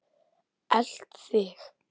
Elt þig?